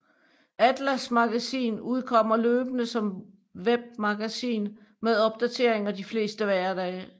ATLAS Magasin udkommer løbende som webmagasin med opdateringer de fleste hverdage